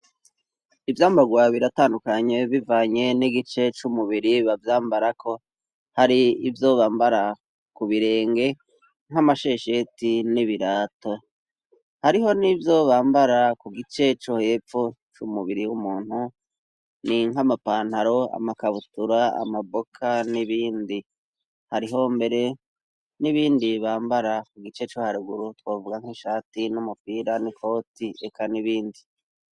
Ivyambagwa biratandukanye bivanye n'igice c'umubiri bavyambarako hari ivyo bambara ku birenge nk'amashesheti n'ibirato hariho n'ivyo bambara ku gice co hepfo c'umubiri w'umuntu ni nk'amapantaro amakabutura amaboka n'ibindi, hariho mbere n'ibindi bambara ku gice co haruguru twovuga nk'ishati, n'umupira n'ikoti reka n'ibindi.